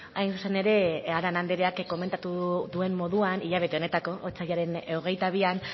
hain zuzen ere arana andrean komentatu duen moduan hilabete honetako otsailaren hogeita bian